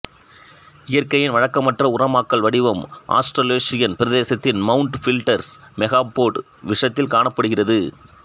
இயற்கையின் வழக்கமற்ற உரமாக்கல் வடிவம் ஆஸ்டரலேஷியன் பிரதேசத்தின் மவுண்ட் பில்டர்ஸ் மெகாபோட் விஷயத்தில் காணப்படுகிறது